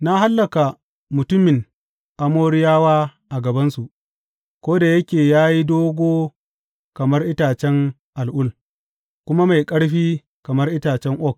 Na hallaka mutumin Amoriyawa a gabansu, ko da yake ya yi dogo kamar itacen al’ul kuma mai ƙarfi kamar itacen oak.